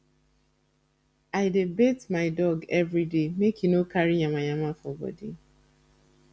i dey bath my dog every day make e no carry yamayama for bodi